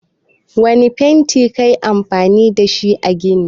Wanne fanti kayi amfani dashi a ginin.